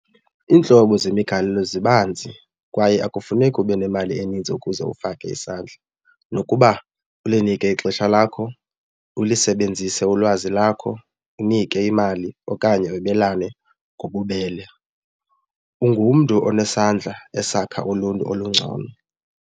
Iintlobo zemigalelo zibanzi kwaye akufuneki ube nemali eninzi ukuze ufake isandla nokuba ulinike ixesha lakho ulisebenzise ulwazi lakho unike imali okanye webelane ngobubele. Ungumntu onesandla esakha uluntu olungcono.